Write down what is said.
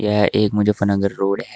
यह एक मुजफ्फरनगर रोड है।